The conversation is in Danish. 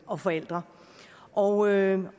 og forældre og jeg